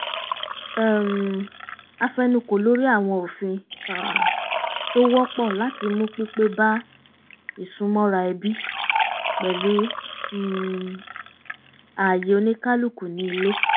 um a fẹnukò lórí àwọn òfin tó wọ́pọ̀ láti mú pípé bá isúnmọ́ra ẹbí pẹ̀lú um ààyè oníkálukú ní ilé